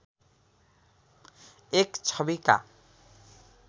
एक छविका